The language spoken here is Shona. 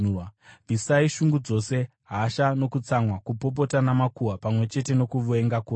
Bvisai shungu dzose, hasha nokutsamwa, kupopota namakuhwa pamwe chete nokuvenga kwose.